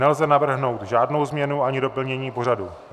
Nelze navrhnout žádnou změnu ani doplnění pořadu.